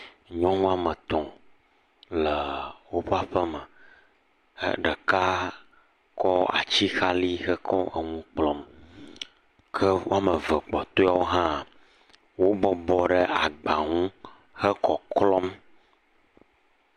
Nyɔnu wɔme etɔ̃ le woƒe aƒeme he ɖeka kɔ atsixalɛ hekɔ enu kplɔm ke wo ame eve kpɔtɔewo hã wo bɔbɔ ɖe agba nu he kɔklɔm.